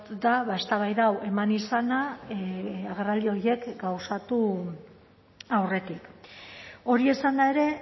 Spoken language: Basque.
da eztabaida hau eman izana agerraldi horiek gauzatu aurretik hori esanda ere